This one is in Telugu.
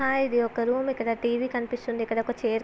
ఇది ఒక రూమ్ . ఇక్కడ టీవీ కనిపిస్తుంది. ఇక్కడ ఒక చైర్ --